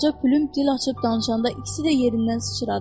Qoca plüm dil açıb danışanda ikisi də yerindən sıçradı.